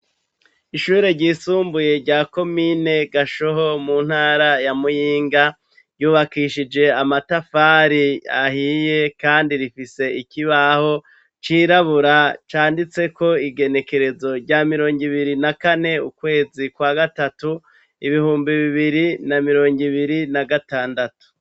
Ishure ryisumbuye rya komine gashoho mu ntara ya Muyinga ryubakishije amatafari ahiye kandi rifise ikibaho cirabura canditse ko igenekerezo rya mirongo ibiri na kane ukwezi kwa gatatu ibihumbi bibiri na mirongi ibiri na gatandatu.